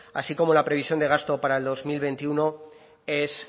así como la previsión de gasto para el dos mil veintiuno es